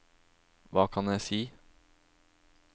hva kan jeg si